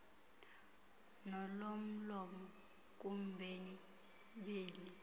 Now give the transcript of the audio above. nolomlomo kubemi beli